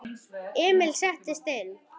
Emil settist inn.